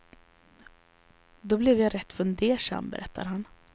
Då blev jag rätt fundersam, berättar han.